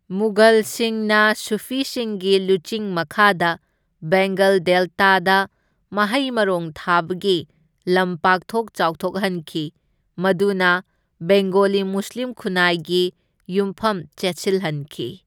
ꯃꯨꯘꯜꯁꯤꯡꯅ ꯁꯨꯐꯤꯁꯤꯡꯒꯤ ꯂꯨꯆꯤꯡ ꯃꯈꯥꯗ ꯕꯦꯡꯒꯜ ꯗꯦꯜꯇꯥꯗ ꯃꯍꯩ ꯃꯔꯣꯡ ꯊꯥꯕꯒꯤ ꯂꯝ ꯄꯥꯛꯊꯣꯛ ꯆꯥꯎꯊꯣꯛꯍꯟꯈꯤ, ꯃꯗꯨꯅ ꯕꯦꯡꯒꯣꯂꯤ ꯃꯨꯁꯂꯤꯝ ꯈꯨꯟꯅꯥꯏꯒꯤ ꯌꯨꯝꯐꯝ ꯆꯦꯠꯁꯤꯜꯍꯟꯈꯤ꯫